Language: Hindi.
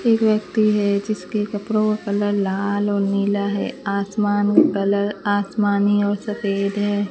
एक व्यक्ति है जिसके कपड़ों का कलर लाल और नीला है आसमान कलर आसमानी और सफेद है।